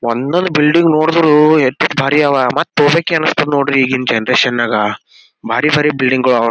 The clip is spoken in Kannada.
ಒಂದೊಂದು ಬಿಲ್ಡಿಂಗ್ ನೋಡದ್ರು ಎಟ್ಟೆಟ ಭಾರಿ ಆವಾ ಮತ್ತ ತೊಬೇಕು ಅನಸ್ತದ್ ನೋಡ್ರಿ ಈಗಿನ ಜನರೇಶನ್ ನಾಗ ಭಾರಿ ಭಾರಿ ಬಿಲ್ಡಿಂಗೊಳ ಅವಾ .